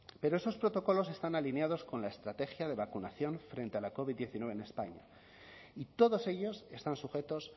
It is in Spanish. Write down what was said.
pero esos protocolos están alineados con la estrategia de vacunación frente a la covid diecinueve en españa y todos ellos están sujetos